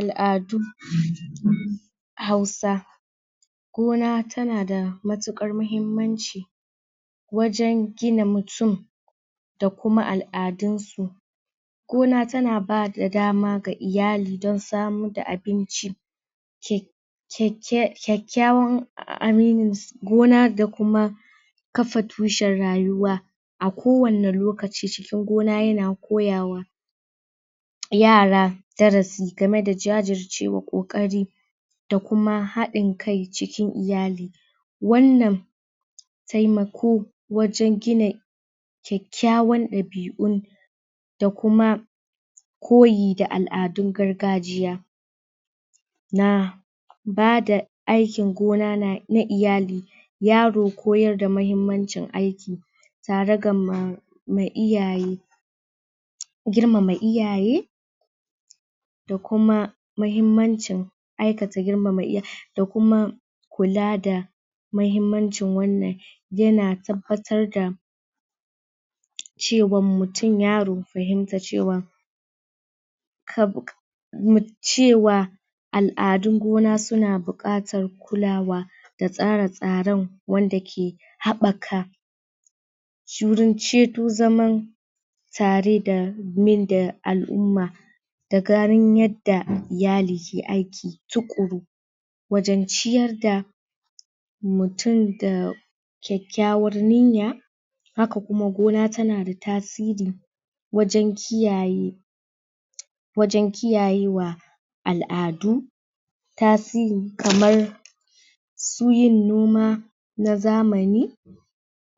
al'adu um um hausa gona tana da matukar mahimmanci wajen gina mutum da kuma al'adun su gona tana bada dama ga iyali da samar da abinci?? kyak kyakyawan aminis gona da kuma kafa tushen rayuwa a kowani lokaci cikin gona yana koyawa yara darasi game da jajirce wa kokari da kuma hadin kai cikin iyali wannan taimako wajen gina kyakyawan dabi'un da kuma koyi da al'adun gargajiya na bada aikin gona na na iyali yaro koyar da mahimmancin aiki tare gama mai iyaye girmama iyaye da kuma mahimmancin aikata girmama iyaye da kuma kula da mahimmancin wannan yana tabbatar da cewan mutum yaro fahimta cewa kabu min cewa al'adun gona suna bukatan kulawa da tsare tsaren wanda ke habaka shirin ce zaman tare da min da al'umma da ganin yadda iyali ke aiki tukuru wajan ciyar da mutum da kyakyawan niyya haka kuma gona tana da tasiri wajen kiyaye wajen kiyayewa al'adu tasiri kamar su yin noma na zamani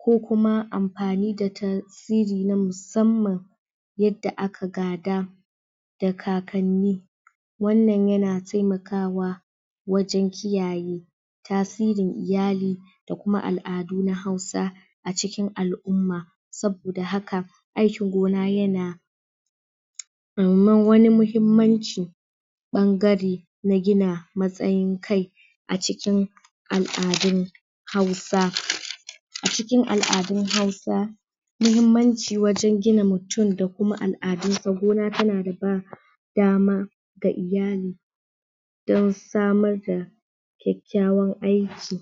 ko kuma amfani da tan siri na musamman yadda aka gada da kakanni wannan yana taimakawa wajen kiyaye tasirin iyali da kuma al'adu na hausa a cikin al'umma saboda haka aikin gona yana um wani mahimmanci bangare na gina matsayin kai a cikin al'adun hausa a cikin al'adun hausa muhimmanci wajen gina mutum da kuma al'adun sa gona tana da ba dama ga iyali don samar da kyakyawan aiki